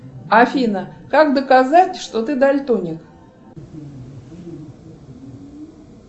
афина как доказать что ты дальтоник